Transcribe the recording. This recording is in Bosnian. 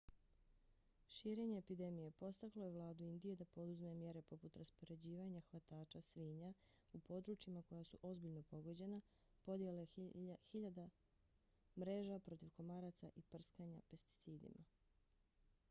širenje epidemije podstaklo je vladu indije da poduzme mjere poput raspoređivanja hvatača svinja u područjima koja su ozbiljno pogođena podjele hiljada mreža protiv komaraca i prskanja pesticidima